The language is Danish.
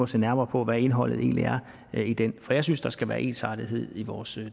se nærmere på hvad indholdet egentlig er i den for jeg synes at der skal være ensartethed i vores